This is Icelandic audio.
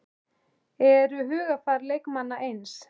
Eru hugarfar leikmanna eins?